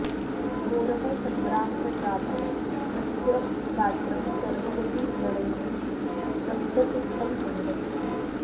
घोरः सङ्ग्रामः जातः तस्य ग्रात्रं सर्वमपि व्रणैः रक्तसिक्तम् अभवत्